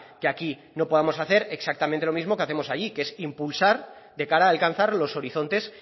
que aquí no podamos hacer exactamente lo mismo que hacemos allí que es impulsar de cara a alcanzar los horizontes